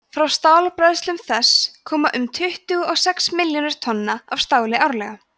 frá stálbræðslum þess koma um tuttugu og sex milljónir tonna af stáli árlega